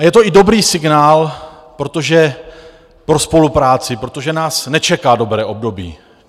A je to i dobrý signál pro spolupráci, protože nás nečeká dobré období.